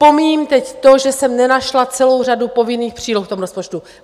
Pomíjím teď to, že jsem nenašla celou řadu povinných příloh v tom rozpočtu.